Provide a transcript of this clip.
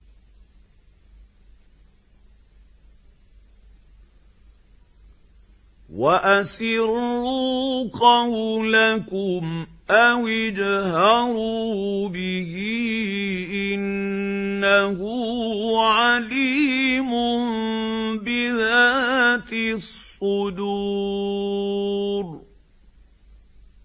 وَأَسِرُّوا قَوْلَكُمْ أَوِ اجْهَرُوا بِهِ ۖ إِنَّهُ عَلِيمٌ بِذَاتِ الصُّدُورِ